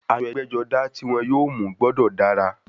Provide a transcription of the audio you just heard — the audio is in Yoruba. Aṣọ ẹgbẹ́-jọdá tí wọ́n yóò mú gbọ́dọ̀ dára.